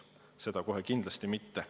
Seda kohe kindlasti mitte.